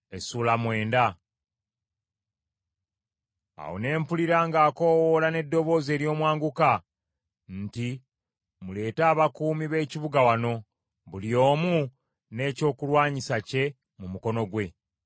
Awo ne mpulira ng’akoowoola n’eddoboozi ery’omwanguka nti, “Muleete abakuumi b’ekibuga wano, buli omu n’ekyokulwanyisa kye mu mukono gwe.”